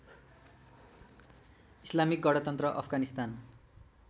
Islamic गणतन्त्र अफगानिस्तान